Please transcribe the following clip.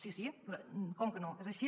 sí sí com que no és així